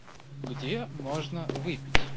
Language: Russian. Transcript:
где можно выпить